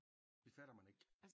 Det fatter man ikke